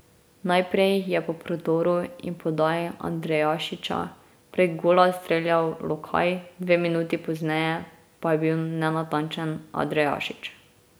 Najprej je po prodoru in podaji Andrejašića prek gola streljal Lokaj, dve minuti pozneje pa je bil nenatančen Andrejašič.